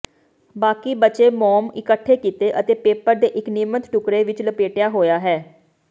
ਬਾਕੀ ਬਚੇ ਮੋਮ ਇਕੱਠੇ ਕੀਤੇ ਅਤੇ ਪੇਪਰ ਦੇ ਇੱਕ ਨਿਯਮਤ ਟੁਕੜੇ ਵਿੱਚ ਲਪੇਟਿਆ ਹੋਇਆ ਹੈ